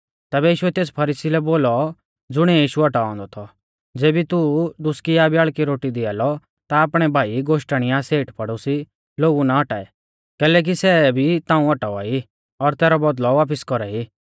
तैबै यीशुऐ तेस फरीसी लै बोलौ ज़ुणिऐ यीशु औटाऔ औन्दौ थौ ज़ेबी तू दुसकी या ब्याल़की रोटी दिया लौ ता आपणै भाई गोश्टण या पड़ोसिऊ और सेठ लोगु ना औटाऐ कैलैकि सै भी ताऊं औटावा ई और तैरौ बौदल़ौ वापिस कौरा ई